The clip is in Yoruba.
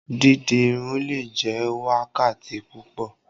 Didi irun le jẹ wákàtí púpọ.